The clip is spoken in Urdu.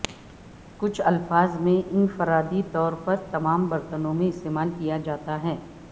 کچھ الفاظ میں انفرادی طور پر تمام برتنوں میں استعمال کیا جاتا ہے